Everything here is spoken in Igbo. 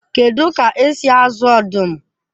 Kedu ka esi azụ ọdụm?